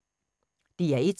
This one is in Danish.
DR1